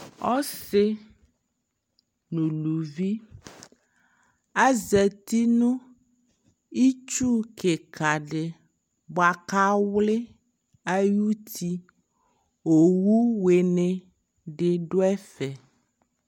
ɔsii nʋ ʋlʋvi, azati nʋ itsʋ kikaa di bʋakʋ awli ayiti, ɔwʋ wini di dʋɛƒɛ